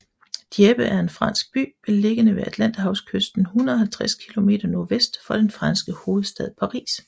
Dieppe er en fransk by beliggende ved Atlanterhavskysten 150 km nordvest for den franske hovedstad Paris